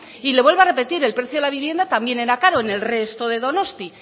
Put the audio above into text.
y le vuelvo a repetir el precio de la vivienda también era caro en el resto de donostia